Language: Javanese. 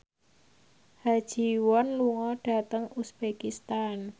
Ha Ji Won lunga dhateng uzbekistan